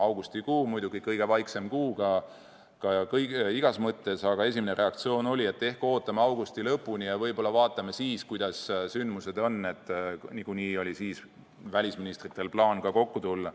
Augustikuu muidugi on kõige vaiksem kuu igas mõttes, aga esimene reaktsioon oli, et ehk ootame augusti lõpuni ja võib-olla vaatame siis, kuidas sündmused on arenenud, ja niikuinii oli siis välisministritel plaan kokku tulla.